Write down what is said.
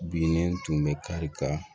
Bilennen tun bɛ kari ka